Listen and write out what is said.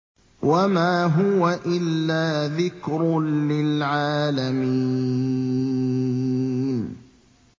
وَمَا هُوَ إِلَّا ذِكْرٌ لِّلْعَالَمِينَ